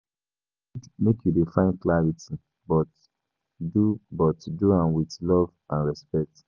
E good make you dey find clarity, but do but do am in love and respect.